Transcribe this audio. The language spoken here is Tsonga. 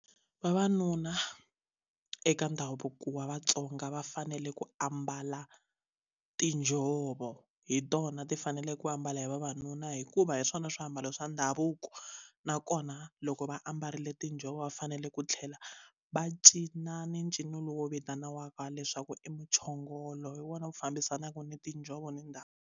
Vavanuna eka ndhavuko wa vaTsonga va fanele ku ambala tinjhovo hi tona ti fanele ku ambala hi vavanuna hikuva hi swona swiambalo swa ndhavuko nakona loko va ambarile tinjhovo va fanele ku tlhela va cina ni ncino lowu vitaniwaka leswaku i muchongolo hi wona wu fambisanaka ni tinjhovo ni ndhawu.